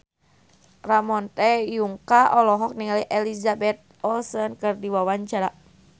Ramon T. Yungka olohok ningali Elizabeth Olsen keur diwawancara